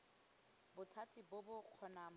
bothati bo bo kgonang bo